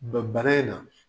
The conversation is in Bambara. Ban bana in na.